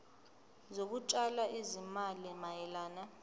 zokutshala izimali mayelana